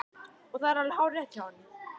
Og það er alveg hárrétt hjá honum.